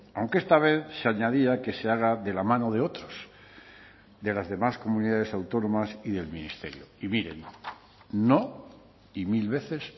aunque esta vez se añadía que se haga de la mano de otros de las demás comunidades autónomas y del ministerio y miren no y mil veces